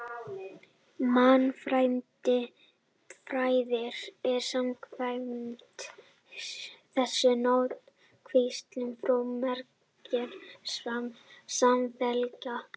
Mannfræðin er samkvæmt þessu náttúruvísindi formgerðar samfélaga.